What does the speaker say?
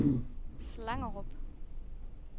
Slangerup